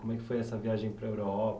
Como é que foi essa viagem para a Europa?